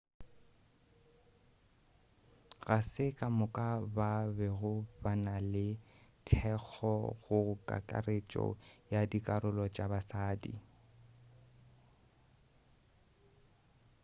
ga se kamoka ba bego ba na le thekgo go kakaretšo ya dikarolo tša basadi